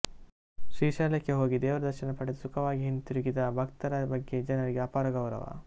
ಶ್ರೀಶೈಲಕ್ಕೆ ಹೋಗಿ ದೇವರ ದರ್ಶನ ಪಡೆದು ಸುಖವಾಗಿ ಹಿಂದಿರುಗಿದ ಭಕ್ತರ ಬಗ್ಗೆ ಜನರಿಗೆ ಅಪಾರ ಗೌರವ